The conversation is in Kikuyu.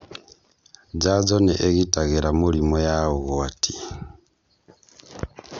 jajo nĩ ĩgitagĩra mĩrimũ ya ũgwati